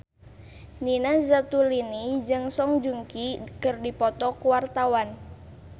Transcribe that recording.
Nina Zatulini jeung Song Joong Ki keur dipoto ku wartawan